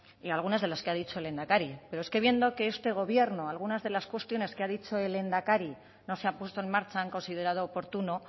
y algunas de las que ha dicho el lehendakari pero es que viendo que este gobierno algunas de las cuestiones que ha dicho el lehendakari no se ha puesto en marcha han considerado oportuno